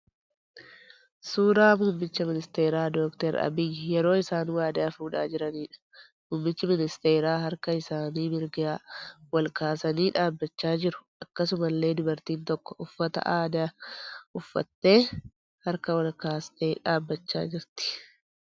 Suuraa muummicha ministeeraa Dr. Abiyyi yeroo isaan waadaa fuudhaa jiraniidha. Muummichi ministeeraa harka isaanii mirgaa wal kaasanii dhaabbachaa jiru. Akkasumallee dubartiin tokko uffata addaa uffattee harka ol kaastee dhaabbachaa jirti.